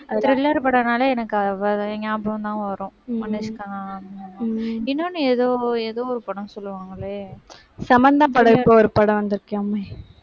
thriller படம்னாலே எனக்கு அவ ஞாபகம்தான் வரும். அனுஷ்கா முகம் இன்னொண்ணு ஏதோ, ஏதோ ஒரு படம் சொல்லுவாங்களே, சமந்தா படம் இப்போ ஒரு படம் வந்திருக்காமே?